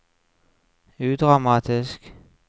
udramatisk